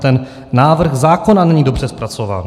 Ten návrh zákona není dobře zpracován.